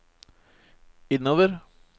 innover